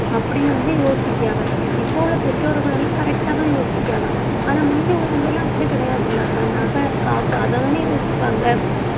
அப்படின்னு வந்து, யோசிக்கிறாங்க இப்ப உள்ள பெற்றோர்கள் எல்லாம் correct ஆ தான் யோசிக்கிறாங்க ஆனா, முந்தி உள்ளவங்கெல்லாம் அப்படி கிடையாதுல்ல அக்கா நகை, காசு அததானே யோசிப்பாங்க